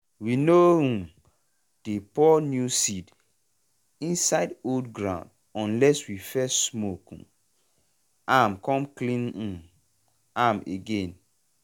we no um dey pour new seed inside old gourd unless we first smoke um am come clean um am again.